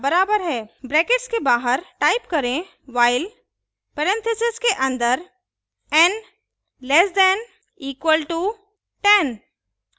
brackets के बाहर type करें while परेन्थिसिस के अन्दर n less than equalto 10